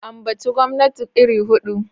Ambaci gwamnati iri hudu!